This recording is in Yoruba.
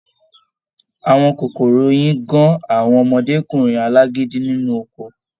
Àwọn kòkòrò oyin gán àwọn ọmọdékunrin alágídí nínú oko.